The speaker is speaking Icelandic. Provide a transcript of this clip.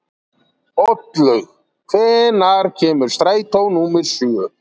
Oddlaug, hvenær kemur strætó númer sjö?